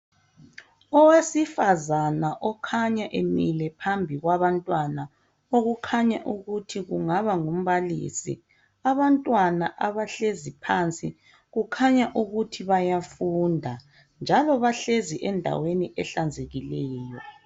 Owasifazana okhanya emile phambi kwabantwana okukhanya ukuthi kungaba ngumbhalisi, abantwana abahlezi phansi kukhanya ukuthi bayafunda njalo bahlezi endaweni ehlanzekileyo.